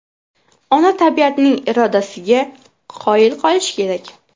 Ona tabiatning irodasiga qoyil qolish kerak.